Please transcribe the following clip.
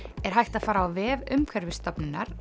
er hægt að fara á vef Umhverfisstofnunar